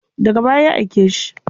Daga baya ya aike shi.